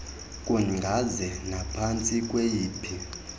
kungaze naphantsi kweyiphi